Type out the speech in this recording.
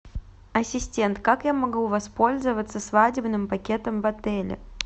ассистент как я могу воспользоваться свадебным пакетом в отеле